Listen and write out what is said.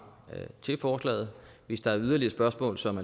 til forslaget hvis der er yderligere spørgsmål som